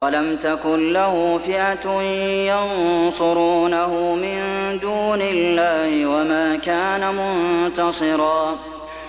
وَلَمْ تَكُن لَّهُ فِئَةٌ يَنصُرُونَهُ مِن دُونِ اللَّهِ وَمَا كَانَ مُنتَصِرًا